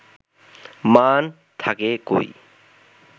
মান থাকে কই